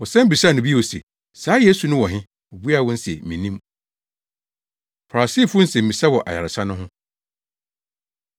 Wɔsan bisaa no bio se, “Saa Yesu no wɔ he?” Obuaa wɔn se, “Minnim.” Farisifo Nsɛmmisa Wɔ Ayaresa No Ho